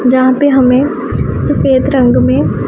यहां पे हमें सफेद रंग में--